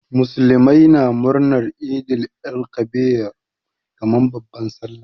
Muslimai na murnar Eid el Kabir kaman babban sallah.